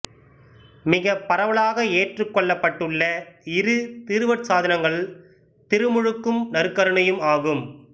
மிகப் பரவலாக ஏற்றுக்கொள்ளப்பட்டுள்ள இரு திருவருட்சாதனங்கள் திருமுழுக்கும் நற்கருணையும் ஆகும்